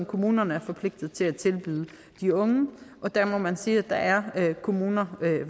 kommunerne er forpligtet til at tilbyde de unge og der må man sige at der er kommuner